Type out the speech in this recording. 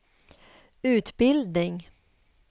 utbildning